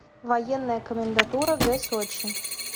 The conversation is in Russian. военная комендатура г сочи